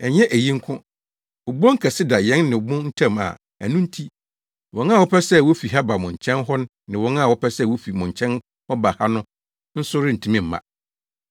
Ɛnyɛ eyi nko, obon kɛse da yɛn ne mo ntam a ɛno nti, wɔn a wɔpɛ sɛ wofi ha ba mo nkyɛn hɔ ne wɔn a wɔpɛ sɛ wofi mo nkyɛn hɔ ba ha no nso rentumi mma.’